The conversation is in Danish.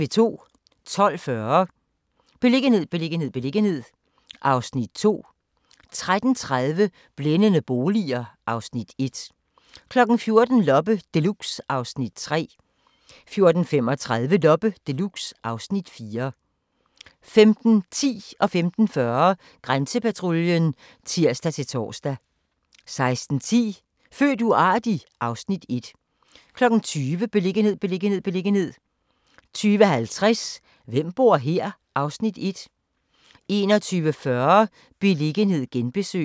12:40: Beliggenhed, beliggenhed, beliggenhed (Afs. 2) 13:30: Blændende boliger (Afs. 1) 14:00: Loppe Deluxe (Afs. 3) 14:35: Loppe Deluxe (Afs. 4) 15:10: Grænsepatruljen (tir-tor) 15:40: Grænsepatruljen (tir-tor) 16:10: Født uartig? (Afs. 1) 20:00: Beliggenhed, beliggenhed, beliggenhed 20:50: Hvem bor her? (Afs. 1) 21:40: Beliggenhed genbesøg